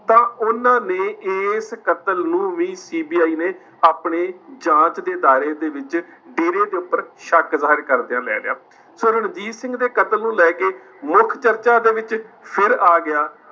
ਤਾਂ ਉਹਨਾਂ ਨੇ ਇਸ ਕਤਲ ਨੂੰ ਵੀ CBI ਨੇ ਆਪਣੇ ਜਾਂਚ ਦੇ ਦਾਇਰੇ ਦੇ ਵਿੱਚ ਡੇਰੇ ਦੇ ਉੱਪਰ ਸ਼ੱਕ ਜ਼ਾਹਿਰ ਕਰਦਿਆਂ ਲੈ ਲਿਆ, ਸੋ ਰਣਜੀਤ ਸਿੰਘ ਦੇ ਕਤਲ ਨੂੰ ਲੈ ਕੇ ਮੁੱਖ ਚਰਚਾ ਦੇ ਵਿੱਚ ਫਿਰ ਆ ਗਿਆ,